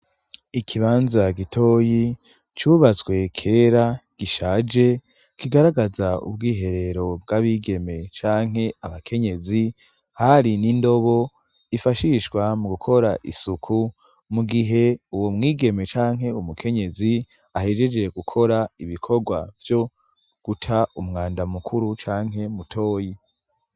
Ikibanza gitoyi, cubatswe kera gishaje, kigaragaza ubwiherero bw'abigeme canke abakenyezi, hari n'indobo yifashishwa mu gukora isuku mu gihe uwo mwigeme canke umukenyezi ahejeje gukora ibikorwa vyo guta umwanda mukuru canke mutoyi.